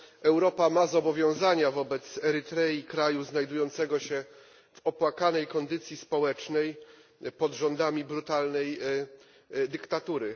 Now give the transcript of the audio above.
Europa ma zobowiązania wobec Erytrei kraju znajdującego się w opłakanej kondycji społecznej, pod rządami brutalnej dyktatury.